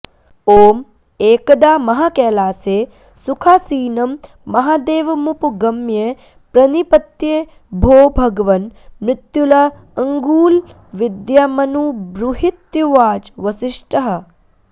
ॐ एकदा महाकैलासे सुखासीनं महादेवमुपगम्य प्रणिपत्य भो भगवन् मृत्युलाङ्गूलविद्यामनुब्रूहीत्युवाच वसिष्ठः